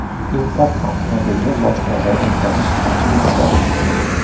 Import avtomobilni bojxonadan o‘tkazish qanchaga tushadi?.